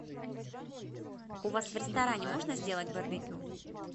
у вас в ресторане можно сделать барбекю